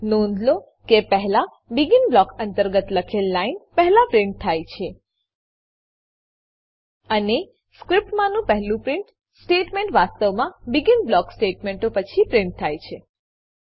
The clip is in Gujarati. નોંધ લો કે પહેલા બેગિન બ્લોક અંતર્ગત લખેલ લાઈન પહેલા પ્રીંટ થાય છે અને સ્ક્રીપ્ટમાનું પહેલું પ્રીંટ સ્ટેટમેંટ વાસ્તવમાં બેગિન બ્લોક સ્ટેટમેંટો પછીથી પ્રીંટ થાય છે